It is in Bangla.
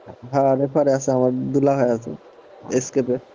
হ্যাঁ refer এ আছে আমার দুলাভাই আছে এসকে তে।